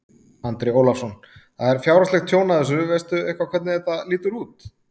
Andri Ólafsson: Það er fjárhagslegt tjón af þessu, veist þú eitthvað hvernig það lítur út?